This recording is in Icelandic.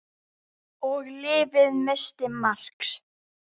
Og lyfið missti marks.